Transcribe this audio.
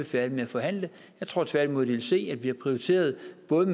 færdige med at forhandle jeg tror tværtimod de vil se at vi har prioriteret